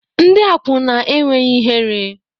Ndị akwụna enweghị ihere